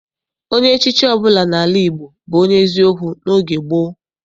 Onye echichi ọbụla n'ala Igbo bụ onye eziokwu n'oge gboo.